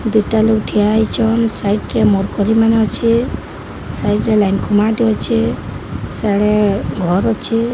ଦୁଇଟା ଲୋକ୍ ଠିଆ ହେଇଚନ୍ ସାଇଟ ରେ ମରକୁରି ମାନେ ଅଛେ ସାଇଟ ରେ ଲାଇନ ଖୁମା ଟେ ଅଛେ ସିଆଡେ ଘର୍ ଅଛେ।